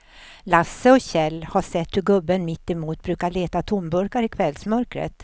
Lasse och Kjell har sett hur gubben mittemot brukar leta tomburkar i kvällsmörkret.